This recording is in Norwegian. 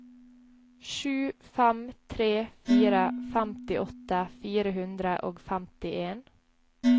sju fem tre fire femtiåtte fire hundre og femtien